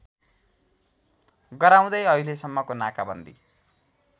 गराउँदै अहिलेसम्मको नाकाबन्दी